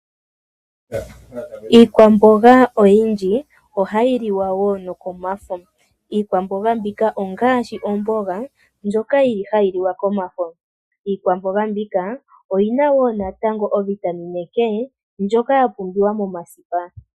Iikwamboga oyindji ohayi liwa woo nokomafo, iikwamboga mbika ongaashi oomboga ndjoka yili hayi liwa komafo, iikwamboga mbika oyina woo natango o Vitamine K ndjoka yapumbiwa momasipa.